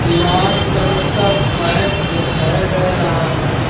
लाल colour का pipe दिखाई दे रहा है।